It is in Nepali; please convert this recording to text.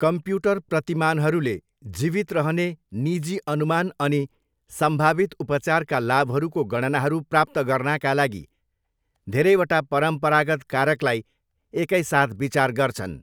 कम्प्युटर प्रतिमानहरूले जीवित रहने निजी अनुमान अनि सम्भावित उपचारका लाभहरूको गणनाहरू प्राप्त गर्नाका लागि धेरैवटा परम्परागत कारकलाई एकैसाथ विचार गर्छन्।